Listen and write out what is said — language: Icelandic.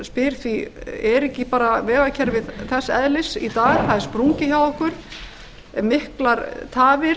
spyr því er ekki bara vegakerfið þess eðlis í dag það er sprungið hjá okkur miklar tafir